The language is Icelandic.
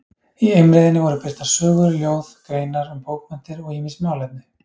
Í Eimreiðinni voru birtar sögur, ljóð, greinar um bókmenntir og ýmis málefni.